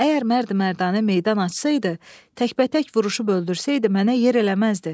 Əgər mərd-mərdanə meydan açsaydı, təkbətək vuruşub öldürsəydi, mənə yer eləməzdi.